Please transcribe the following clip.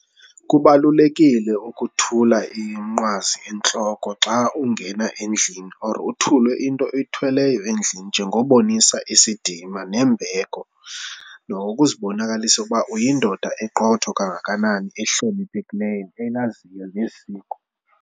Kubalulekile ukuthula iminqwazi entloko xa ungena endlini or uthule into oyithweleyo endlini njengobonisa isidima nembeko nokokuzibonakalisa ukuba uyindoda eqotho kangakanani ehloniphekileyo elaziyo nesiko.